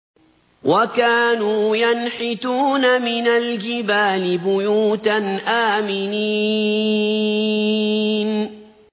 وَكَانُوا يَنْحِتُونَ مِنَ الْجِبَالِ بُيُوتًا آمِنِينَ